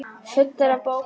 Fullar af bókum og möppum.